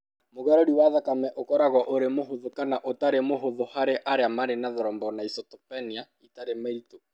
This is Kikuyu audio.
Mũgarũri wa thakame ũkoragwo ũrĩ mũhũthũ kana ũtarĩ mũhũthũ harĩ arĩa marĩ na thrombocytopenia ĩtarĩ mĩritũ.